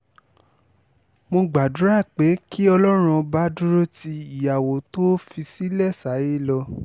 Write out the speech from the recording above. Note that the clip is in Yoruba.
mo gbàdúrà pé kí ọlọ́run ọba dúró ti ìyàwó tó o fi sílẹ̀ sáyé lọ